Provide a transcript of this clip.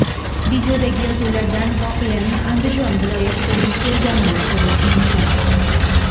Videodagi yozuvlardan voqeaning Andijon viloyatida yuz berganini ko‘rish mumkin.